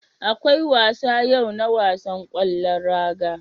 Akwai wasa yau na wasan ƙwallon raga.